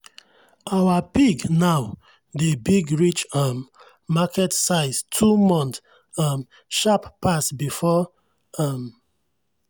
our pig now dey big reach um market size two month um sharp pass before. um